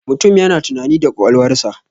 Mutum yana tunani da ƙwaƙwalwarsa.